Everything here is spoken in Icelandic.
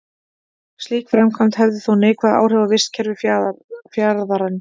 Slík framkvæmd hefði þó neikvæð áhrif á vistkerfi fjarðarins.